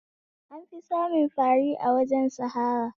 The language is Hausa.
An fi samun fari a wajajen sahara